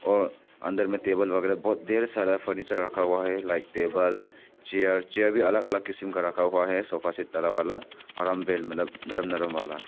और अंदर में टेबल वगैरा बहोत ढेर सारा फर्नीचर रखा हुआ है लाइक टेबल चेयर चेयर भी अलग अलग किसीम का रखा हुआ है सोफा सेट वाला और मतलब नरम नरम वाला।